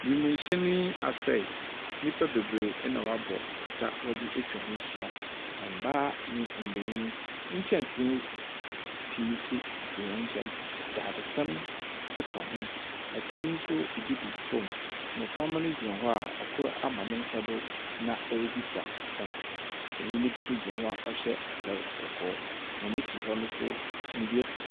Wimhyɛn yi asɛe, nipa bebree ɛna wabɔ pata wɔdze etwa hɔ ehyia. Na mmaa nye mbanyin, nkyɛnsee pii so sisi wɔn nkyɛn, dadzesɛn nso ka ho. Ɛtam no so ebi gugu fom, mmoframa gyina hɔ a ɛkor ama nensa do ɔrebisa asɛm. Panyin bi so gyina hɔ a ɔhyɛ atar kɔkɔɔ. Wɔn ekyir hɔ no so ndua si .